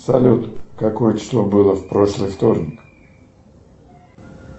салют какое число было в прошлый вторник